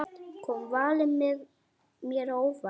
Kom valið mér á óvart?